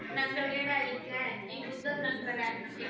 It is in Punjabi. ਨੰਗਲ ਕਿਹੜਾ ਇਕ ਏ ਇਕ ਓਧਰ ਨੰਗਲ ਏ